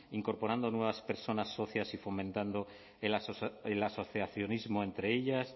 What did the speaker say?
incorporando nuevas personas socias y fomentando el asociacionismo entre ellas